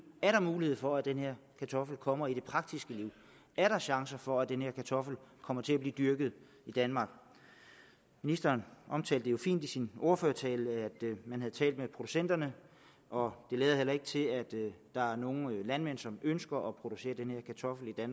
er der mulighed for at den her kartoffel kommer i det praktiske liv er der chancer for at den her kartoffel kommer til at blive dyrket i danmark ministeren omtalte jo fint i sin ordførertale at man havde talt med producenterne og det lader heller ikke til at der er nogen landmænd som ønsker at producere den her kartoffel jeg